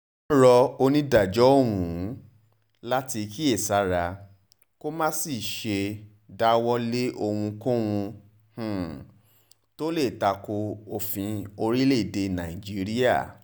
wọ́n rọ onídàájọ́ ọ̀hún láti kíyèsára kó má um sì ṣe dáwọ́ lé ohunkóhun um tó lè takò òfin orílẹ̀-èdè nàìjíríà